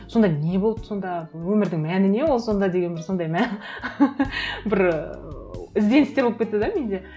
сонда не болды сонда өмірдің мәні не ол сонда деген бір сондай бір ыыы ізденістер болып кетті де менде